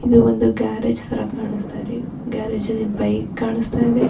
ಇದು ಒಂದ್ ಗ್ಯಾರೇಜ ತರಾ ಕಾಂಸ್ತಾಯಿದೆ. ಗ್ಯಾರೇಜ ಅಲ್ಲಿ ಬೈಕ್ ಕಾಂಸ್ತಾಯಿದೆ.